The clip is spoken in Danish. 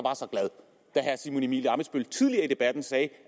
det herre simon emil ammitzbøll tidligere i debatten sagde at